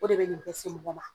O de be nin bɛ se mɔgɔ ma.